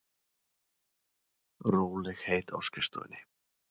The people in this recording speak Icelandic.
Rólegheit á skrifstofunni.